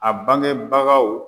A bangebagaw